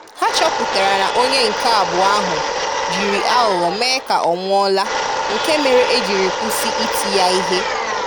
Ha chọpụtara na onye nke abụọ ahụ jiri aghụghọ mee ka ọ nwụọla nke mere e jiri kwụsị iti ya ihe